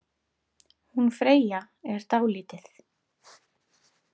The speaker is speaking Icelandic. Hún Freyja er dálítið.